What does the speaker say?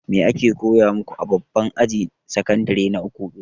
Me ake koya maku a babban ajin sakandire na uku?